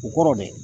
U kɔrɔ dɛ